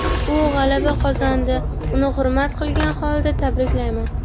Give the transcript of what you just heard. U g‘alaba qozondi, uni hurmat qilgan holda tabriklayman.